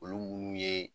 Olu munnu ye